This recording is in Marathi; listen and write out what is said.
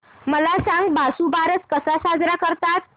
मला सांग वसुबारस कसा साजरा करतात